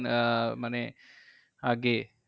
আহ মানে আগে